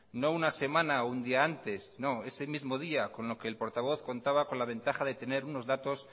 no una semana o un día antes sino ese mismo día con lo que el portavoz contaba con la ventaja de tener unos datos